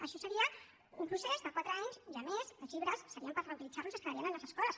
això seria un procés de quatre anys i a més els llibres serien per reutilitzar los i es quedarien a les escoles